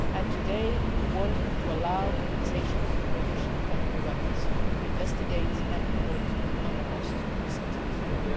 Today we are working to enable the Organisation for the Prohibition of Chemical Weapons to investigate and report on the most recent attack.